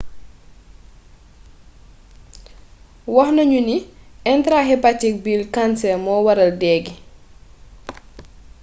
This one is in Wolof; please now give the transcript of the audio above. waxnañu ni intrahepatic bile cancer mo waral déé gi